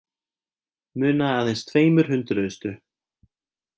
Munaði aðeins tveimur hundruðustu